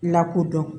Lakodɔn